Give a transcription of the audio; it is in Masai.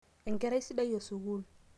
enkerai sidai esukul